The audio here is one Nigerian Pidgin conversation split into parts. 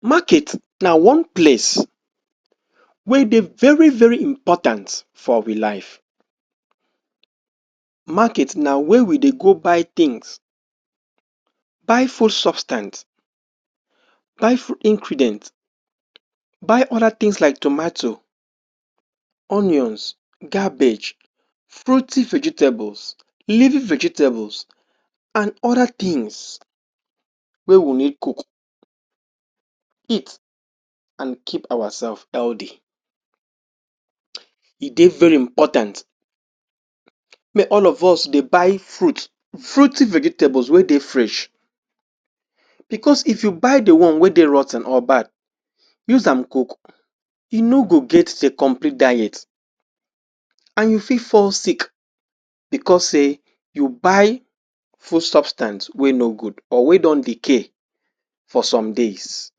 Market na one place wey dey very very important for we life. Market na where we dey go buy things, buy? ingredients, buy food ingredients, buy other things like tomato, onion, cabbage, fruity vegetable, leafy vegetables and other things wey we need cook, eat and keep ourselves healthy. E dey very important wey all of us dey buy fruit, fruity vegetables wey dey fresh because if you buy the one wey dey rot ten or bad use am cook, e no go get the complete diet and you fit fall sick because say you buy food substance wey no good or wey don decay for some days.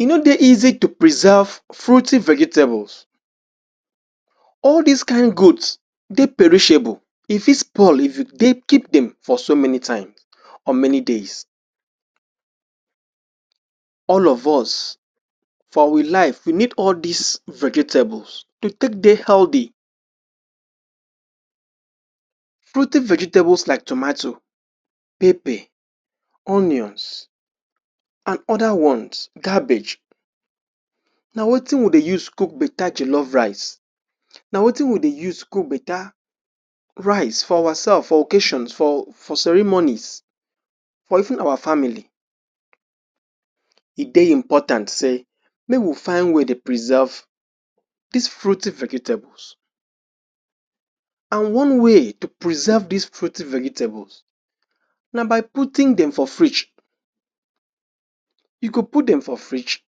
E no dey easy to preserve fruity vegetables. All this kain goods dey perishable, e fit spoil if you? keep dem for so many times or many days. All of us, for we life, we need all this vegetables to take dey healthy. Fruity vegetables like tomato, pepper, onions and other ones, cabbage na wetin we dey use cook better jollof rice. Na wetin we dey use cook better rice for ourself, for occasions, for for ceremonies, for even our family. E dey important say make we find way dey preserve these fruity vegetables and one way to preserve these fruity vegetables na by putting dem for fridge, you go put dem for fridge,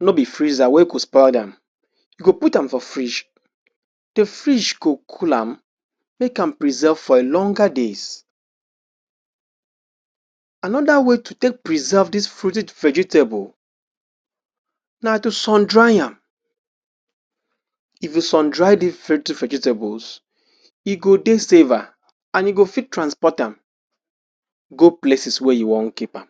no be freezer wey go spoil dem. You go put am for fridge, the fridge go cool am, make am preserve for a longer days. Another way to take preserve these fruity vegetable na to sun-dry am. If you sun-dry these fruity vegetables e go dey safer and you go fit transport am go places wey you wan keep am.